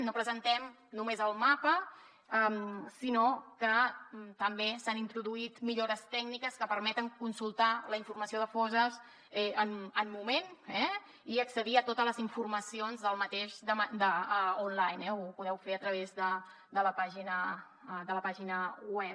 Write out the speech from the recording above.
no presentem només el mapa sinó que també s’hi han introduït millores tècniques que permeten consultar la informació de fosses en el moment i accedir a totes les seves informacions en línia ho podeu fer a través de la pàgina web